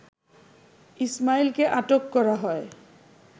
ইসমাঈলকে আটক করা হয়